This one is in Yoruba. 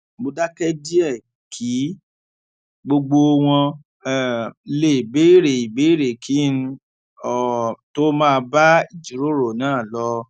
mo dáké díè kí gbogbo wọn um lè béèrè ìbéèrè kí n um tó máa bá ìjíròrò náà lọ